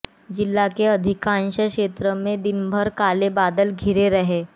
जिला के अधिकांश क्षेत्रों में दिन भर काले बादल घिरे रहे